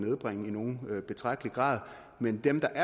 nedbringe i nogen betragtelig grad men dem der